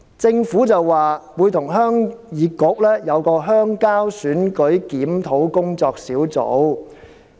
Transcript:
政府說會與鄉議局舉行鄉郊選舉檢討工作小組會議。